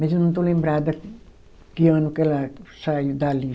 Mas eu não estou lembrada que ano que ela saiu dali.